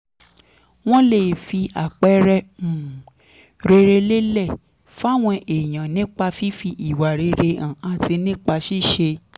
wọ́n lè fi àpẹẹrẹ um rere lélẹ̀ fáwọn èèyàn nípa fífi ìwà rere hàn àti nípa ṣíṣe